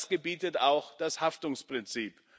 Das gebietet auch das Haftungsprinzip.